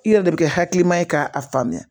I yɛrɛ de bɛ kɛ hakilima ye k'a faamuya